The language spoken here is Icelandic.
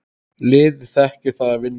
Liðið þekkir það að vinna.